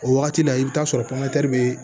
O wagati la i bi taa sɔrɔ be